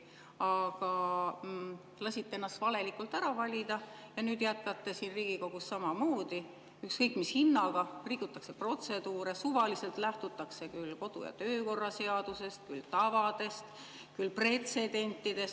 Aga lasite ennast valelikult ära valida ja nüüd jätkate siin Riigikogus samamoodi: ükskõik mis hinnaga rikutakse protseduure, suvaliselt lähtutakse küll kodu‑ ja töökorra seadusest, küll tavadest, küll pretsedentidest.